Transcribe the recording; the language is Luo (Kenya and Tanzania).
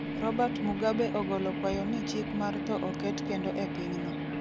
Robert Mugabe ogolo kwayo ni chik mar tho oket kendo e pinyno.